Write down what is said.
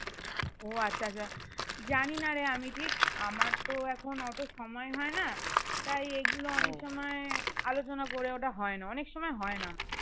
ও আচ্ছা আচ্ছা জানিনারে আমি ঠিক আমার তো এখন অত সময় হয় না তাই এগুলো অনেক সময়ে আলোচনা করে ওটা হয় না অনেক সময় হয় না